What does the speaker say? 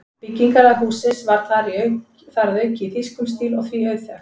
Byggingarlag hússins var þar að auki í þýskum stíl og því auðþekkt.